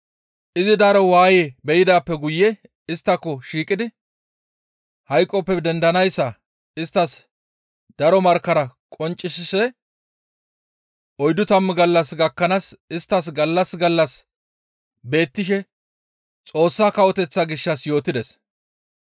Izi daro waaye be7idaappe guye isttako shiiqidi hayqoppe dendanayssa isttas daro markkara qonccisishe oyddu tammu gallas gakkanaas isttas gallas gallas beettishe Xoossa Kawoteththa gishshas yootides.